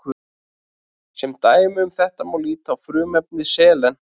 sem dæmi um þetta má líta á frumefni selen